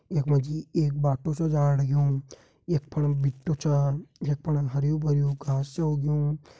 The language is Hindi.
यखमा जी एक बाटो सू जाण लग्यूं यख फणोम भिट्टो चा यख फणा हर्युं-भर्युं घास च उग्यूँ।